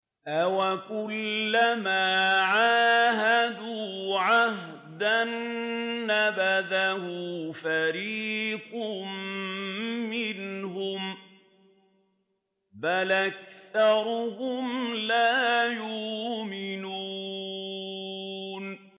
أَوَكُلَّمَا عَاهَدُوا عَهْدًا نَّبَذَهُ فَرِيقٌ مِّنْهُم ۚ بَلْ أَكْثَرُهُمْ لَا يُؤْمِنُونَ